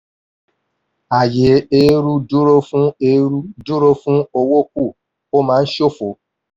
àyé eérú dúró fún eérú dúró fún owó kù – ó máa ń ṣófo.